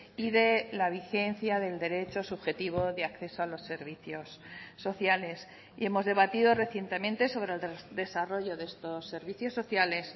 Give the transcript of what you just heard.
y de la vigencia del derecho subjetivo de acceso a los servicios sociales y hemos debatido recientemente sobre el desarrollo de estos servicios sociales